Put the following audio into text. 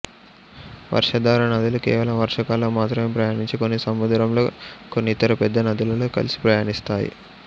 వర్షాధార నదులు కేవలం వర్షాకాలం మాత్రమే ప్రయాణించి కొన్ని సముద్రంలో కొన్ని ఇతర పెద్ద నదులలో కలసి ప్రయాణిస్తాయి